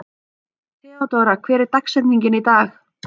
Theódóra, hver er dagsetningin í dag?